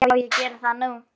Já, ég geri það núna.